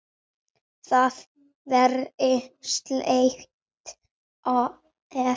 Það væri slæmt, ef